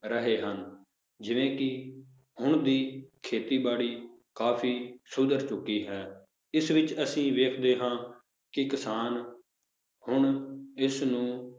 ਰਹੇ ਹਨ, ਜਿਵੇਂ ਕਿ ਹੁਣ ਦੀ ਖੇਤੀਬਾੜੀ ਕਾਫ਼ੀ ਸੁਧਰ ਚੁੱਕੀ ਹੈ ਇਸ ਵਿੱਚ ਅਸੀਂ ਵੇਖਦੇ ਹਾਂ ਕਿ ਕਿਸਾਨ ਹੁਣ ਇਸਨੂੰ